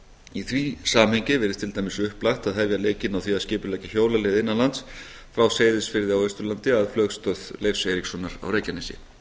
í því samhengi virðist til dæmis upplagt að hefja leikinn á því að skipuleggja hjólaleið innan lands frá seyðisfirði á austurlandi að flugstöð leifs eiríkssonar á reykjanesi